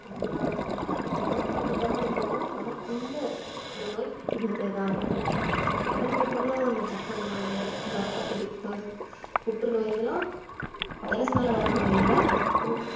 நம்ம எவ்வளவுதான் சுத்த பத்தமா இருந்தாலும் நமக்குள்ள ஒரு நோய் இருந்திட்டே தான் இருக்கு அதுல பாத்தீங்கன்னா அந்த சக்கரை நோய் ரத்த கொதிப்பு புற்றுநோய் இதெல்லாம் virus னால வர நோய் இல்ல அது நம்ம உடம்புல